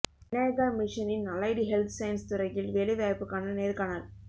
விநாயகா மிஷனின் allied health science துறையில் வேலை வாய்ப்புக்கான நேர்காணல்